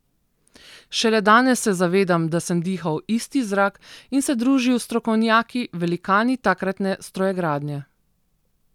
Šele danes se zavedam, da sem dihal isti zrak in se družil s strokovnjaki, velikani takratne strojegradnje.